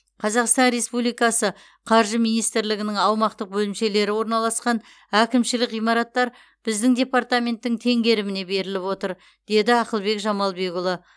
қазақстан республикасы қаржы министрлігінің аумақтық бөлімшелері орналасқан әкімшілік ғимараттар біздің департаменттің теңгеріміне беріліп отыр деді ақылбек жамалбекұлы